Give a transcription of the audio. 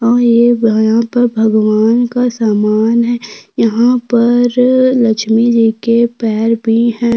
और ये यहाँ पर भगवान का सामान है यहाँ पर लक्ष्मी जी के पैर भी है।